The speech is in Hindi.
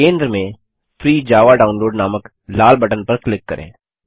केन्द्र में फ्री जावा डाउनलोड नामक लाल बटन पर क्लिक करें